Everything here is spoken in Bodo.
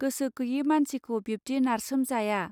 गोसो गैयै मानसिखौ बिब्दि नारसोम जाया